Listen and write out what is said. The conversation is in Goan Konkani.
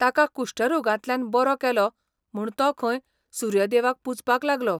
ताका कुश्ठ रोगांतल्यान बरो केलो म्हूण तो खंय सूर्यदेवाक पुजपाक लागलो.